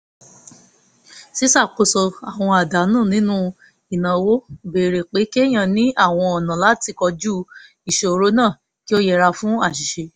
ṣíṣakoso àwọn àdánù nínú ìnáwó béèrè pé kéèyàn ní àwọn ọ̀nà láti kojú ìṣòro náà kí ó yẹra fún àṣìṣe